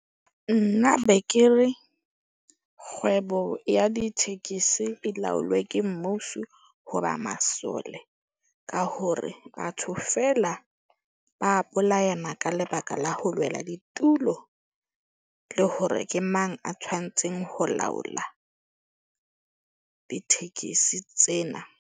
Nna be ke re kgwebo ya ditekesi e laolwe ke mmuso. Hoba masole ka hore batho feela ba bolayana. Ka lebaka la ho lwela ditulo, le hore ke mang a tshwantseng ho laola ditekesi tsena.